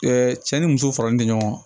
cɛ ni muso faralen tɛ ɲɔgɔn kan